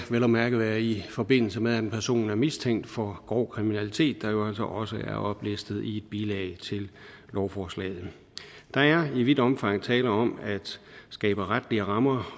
vel at mærke være i forbindelse med at en person er mistænkt for grov kriminalitet noget der også er oplistet i et bilag til lovforslaget der er i vidt omfang tale om at skabe retlige rammer